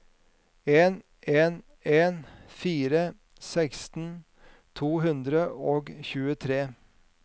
en en en fire seksten to hundre og tjuetre